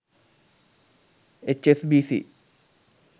hsbc